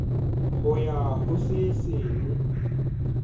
ho ya ho se seng